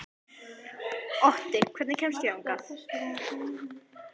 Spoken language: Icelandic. Otti, hvernig kemst ég þangað?